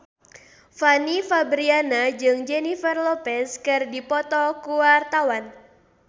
Fanny Fabriana jeung Jennifer Lopez keur dipoto ku wartawan